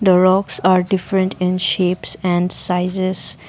the rocks are different in shapes and sizes.